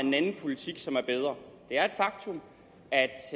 en anden politik som er bedre det er et faktum